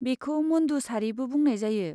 बेखौ मुन्दु सारिबो बुंनाय जायो।